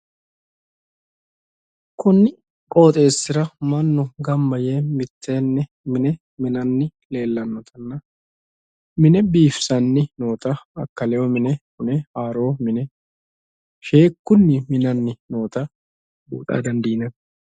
Kunni qoxeessira mannu gamba yee mitteenni mine minanni leellannotanna mine biifisanni noota akkaleyo mine hune haaro mine sheekkunni minanni noota la"a dandiinanni